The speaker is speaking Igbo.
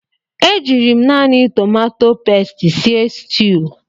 E jiiri m naanị tomato pesti sie sutuu.